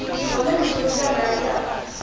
zwone miṱodzi yanga i a